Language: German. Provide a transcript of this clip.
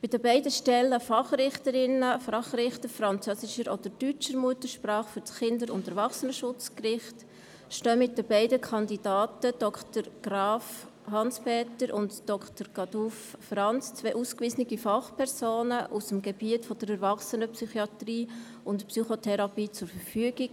Bei den beiden Stellen Fachrichterinnen oder Fachrichter französischer oder deutscher Muttersprache für das Kindes- und Erwachsenenschutzgericht stehen mit den beiden Kandidaten, Dr. Hans Peter Graf und Dr. Franz Caduff, zwei ausgewiesene Fachpersonen aus dem Gebiet der Erwachsenenpsychiatrie und -psychotherapie zur Verfügung.